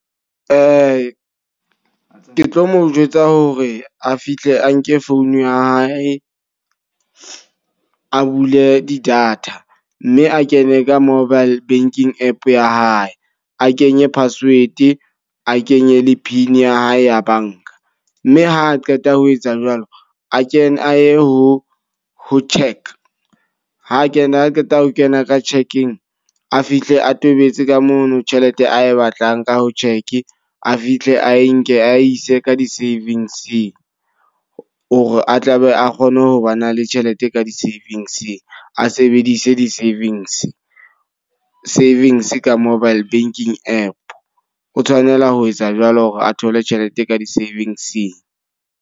Ke tlo mo jwetsa hore a fihle a nke phone ya hae, a bule di-data. Mme a kene ka mobile banking app ya hae. A kenye password, a kenye le pin ya hae ya banka. Mme ha a qeta ho petsa jwalo, a kene a ye ho ho check. Ha a kena a qeta ho kena ka check-eng a fihle a tobetse ka mono tjhelete ae batlang ka ho check. A fihle a enke a ise ka di-savings. O re a tlabe a kgone ho ba na le tjhelete ka di savings, a sebedise di-savings. Savings ka mobile banking app. O tshwanela ho etsa jwalo hore a thole tjhelete ka di-savings-ing.